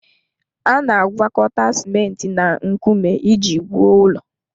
A na-agwakọta simenti na nkume iji wuo ụlọ.